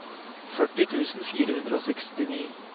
førti tusen fire hundre og sekstini